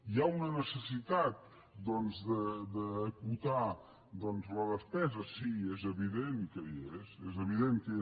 hi ha una necessitat doncs d’acotar la despesa sí és evident que hi és evident que hi és